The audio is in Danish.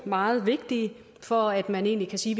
meget vigtige for at man egentlig kan sige